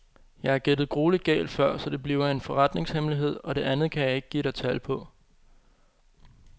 Jeg har gættet grueligt galt før, så det bliver en forretningshemmelighed, og det andet kan jeg ikke give dig tal på.